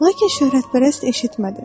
Lakin şöhrətpərəst eşitmədi.